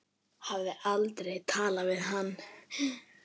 Hafði aldrei talað við hann.